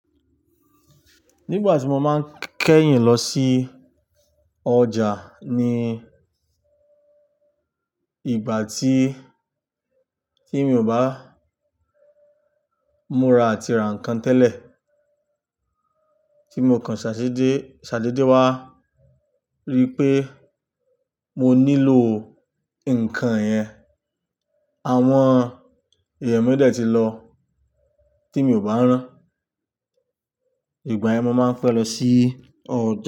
Nígbà tí mo máa ń kẹ́yìn lọ sí ọjà ní ìgbà tí, tí mi ò bá múra àti ra nǹkan tẹ́lẹ̀. Tí mo kan ṣàdéde, ṣàdéde wá rí pé mo nílò nǹkan yẹn, àwọn èèyàn mi dẹ ti lọ tí mi ò bá rán. Ìgbà yẹn mo máa ń fẹ́ lọ sí ọjà.